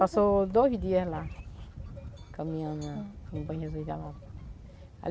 Passou dois dias lá, caminhando lá no Banho Jesus da Lapa.